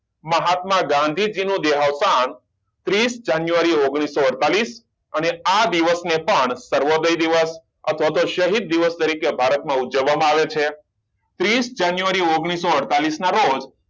મહાત્મા ગાંધીજી નું દેહાંત ત્રીસ જનયુઆરી ઓગણીસો અડતાલીસ અને આ દિવસ ને પણ સર્વોદય દિવસ અથવા તો શહીદ દિવસ તરીકે ભારત માં ઉજવવામાં આવે છે ત્રીસ જાન્યુઆરી ઓગણીસો અડતાલીસ ના રોજ